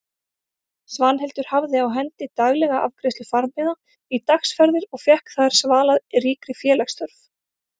Svanhildur hafði á hendi daglega afgreiðslu farmiða í dagsferðir og fékk þar svalað ríkri félagsþörf.